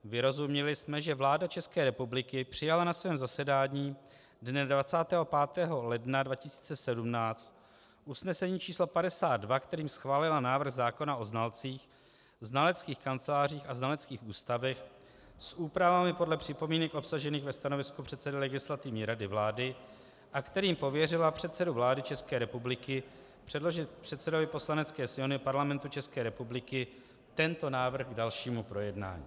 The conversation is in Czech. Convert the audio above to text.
Vyrozuměli jsme, že vláda České republiky přijala na svém zasedání dne 25. ledna 2017 usnesení číslo 52, kterým schválila návrh zákona o znalcích, znaleckých kancelářích a znaleckých ústavech s úpravami podle připomínek obsažených ve stanovisku předsedy Legislativní rady vlády a kterým pověřila předsedu vlády České republiky předložit předsedovi Poslanecké sněmovny Parlamentu České republiky tento návrh k dalšímu projednání.